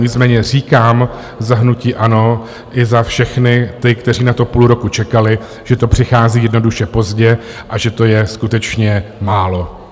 Nicméně říkám za hnutí ANO i za všechny ty, kteří na to půl roku čekali, že to přichází jednoduše pozdě, a že to je skutečně málo.